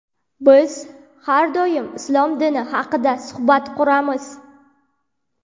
Biz har doim islom dini haqida suhbat quramiz.